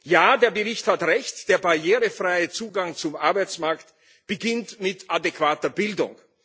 Ja, der Bericht hat recht Der barrierefreie Zugang zum Arbeitsmarkt beginnt mit adäquater Bildung.